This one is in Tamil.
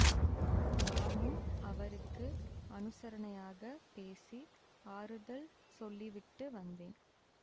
நானும் அவருக்கு அனுசரணையாகப் பேசி ஆறுதல் சொல்லிவிட்டு வந்தேன்